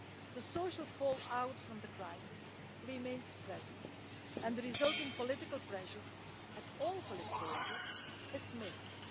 The social fallout from the crisis remains present, and the resulting political pressure at all political levels is massive.